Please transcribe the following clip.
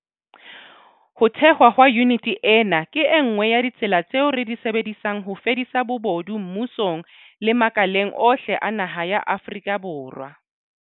Ho thehwa ha yuniti ena ke e nngwe ya ditsela tseo re di sebedisang ho fedisa bobodu mmusong le makaleng ohle a naha ya Afrika Borwa.